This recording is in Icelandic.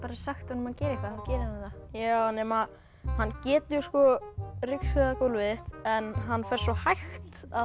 sagt honum að gera eitthvað þá gerir hann það hann getur ryksugað gólfið en hann fer sgo hægt að